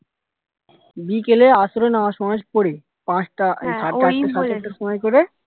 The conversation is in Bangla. বিকেলে আসরের নামাজ ফামাজ পড়ে পাঁচটা গেলে